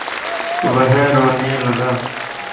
वह रोने लगा